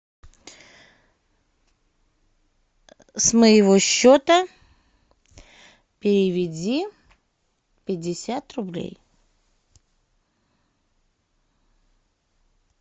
с моего счета переведи пятьдесят рублей